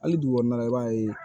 Hali dugu kɔnɔna na i b'a ye